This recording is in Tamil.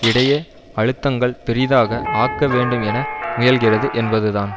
இடையே அழுத்தங்கள் பெரிதாக ஆக்க வேண்டும் என முயல்கிறது என்பதுதான்